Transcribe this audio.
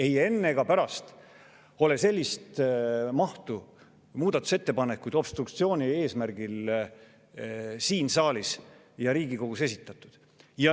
Ei enne ega pärast pole sellises mahus muudatusettepanekuid obstruktsiooni eesmärgil siin saalis ja Riigikogus esitatud.